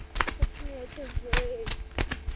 пацаны это жесть